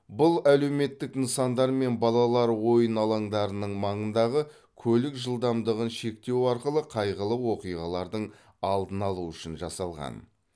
бұл әлеуметтік нысандар мен балалар ойын алаңдарының маңындағы көлік жылдамдығын шектеу арқылы қайғылы оқиғалардың алдын алу үшін жасалған